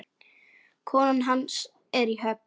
Konan hans er í Höfn.